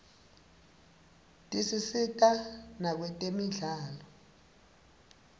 tisisita nakwetemidlalo